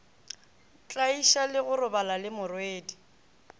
tlaiša le go robala lemorwedi